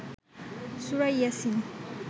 সুরা ইয়াছিন